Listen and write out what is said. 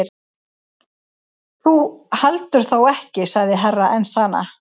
Þú heldur þó ekki sagði Herra Enzana.